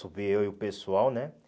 Subi eu e o pessoal, né?